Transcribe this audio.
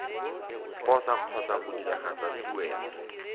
posa kgotsa go diragatsa tuelo